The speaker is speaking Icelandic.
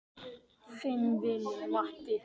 Þinn vinur Matti.